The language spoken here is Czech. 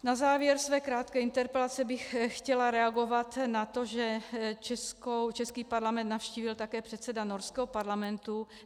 Na závěr své krátké interpelace bych chtěla reagovat na to, že český parlament navštívil také předseda norského parlamentu.